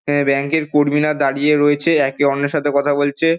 আ bank -এর কর্মীরা দাঁড়িয়ে রয়েছে। একে অন্যের সাথে কথা বলছে।